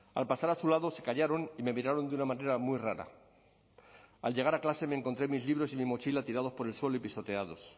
al pasar a su lado se callaron y me miraron de una manera muy rara al llegar a clase me encontré mis libros y mi mochila tirados por el suelo y pisoteados